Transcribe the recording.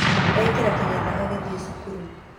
Ekĩrire kĩnyatha agĩthiĩ cukuru.